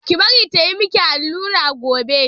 Ki bari ta yi miki allura gobe!